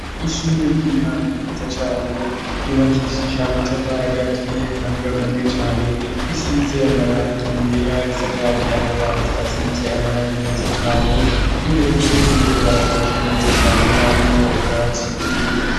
Ishure ry'intango ryiza cane ryubakishije amatafari aturiye kandi akomeye cane risize amarangi yera risakaje amabati asize amarangi meza cane, imbere y'iryo shure harashashe neza cane harimwo ubwatsi bukeya.